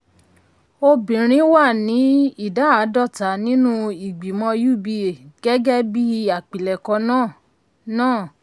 obìnrin wà ní ìdá àádọ́ta nínú ìgbìmọ̀ uba gẹ́gẹ́ bí àpilẹ̀kọ náà. náà.